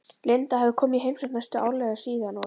Linda hafði komið í heimsókn næstum árlega síðan og